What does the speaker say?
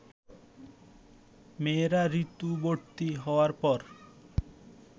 মেয়েরা ঋতুবতী হওয়ার পর